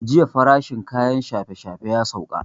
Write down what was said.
Jiya farashin kayan shafe shafe ya sauka